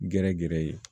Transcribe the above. Gɛrɛ gɛrɛ ye